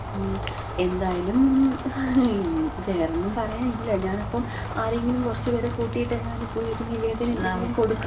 മ്. എന്തായാലും വേറൊന്നും പറയാനില്ല. ഞാനപ്പം ആരെങ്കിലും കൊറച്ച് പേരെ കൂട്ടിട്ടെങ്ങാനും പോയിര്ന്ന് ഈ നിവേദനെന്തെങ്കിലും കൊട്ക്കാ.